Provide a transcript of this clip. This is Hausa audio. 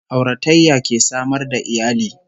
Auratayya ke samar da iyali